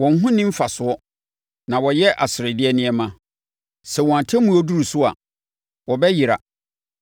Wɔn ho nni mfasoɔ, na wɔyɛ aseredeɛ nneɛma. Sɛ wɔn atemmuo duru so a, wɔbɛyera.